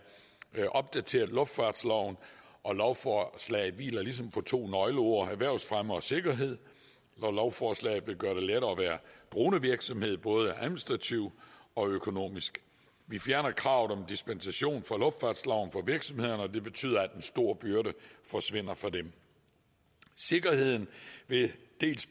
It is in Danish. have opdateret luftfartsloven og lovforslaget hviler ligesom på to nøgleord erhvervsfremme og sikkerhed og lovforslaget vil gøre det lettere at være dronevirksomhed både administrativt og økonomisk vi fjerner kravet om dispensation for luftfartsloven for virksomhederne og det betyder at en stor byrde forsvinder for dem sikkerheden vil